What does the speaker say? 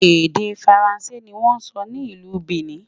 èdè faransé ní wón sò ní ìlú Benin